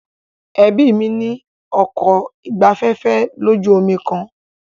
Ẹbí mí ní ọkọ̀ ìgbafẹ́fẹ́ lójú omi kan.